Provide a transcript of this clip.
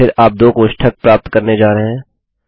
फिर आप दो कोष्ठक प्राप्त करने जा रहे हैं